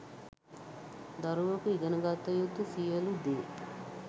දරුවකු ඉගෙන ගත යුතු සියලු දේ